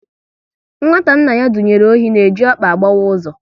Nwata nna ya dunyere ohi na-eji ọkpa agbawa ụzọ